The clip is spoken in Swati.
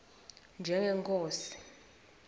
njengenkhosi